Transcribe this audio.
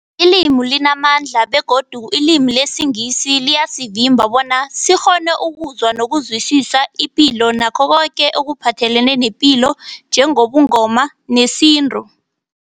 Ilimi limamandla begodu ilimi lesiNgisi liyasivimba bona sikghone ukuzwa nokuzwisisa ipilo nakho koke ekuphathelene nepilo njengobuNgoma nesintu.